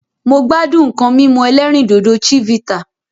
Mo gbádùn nǹkan mímú ẹlẹ́rìndòdò Chivita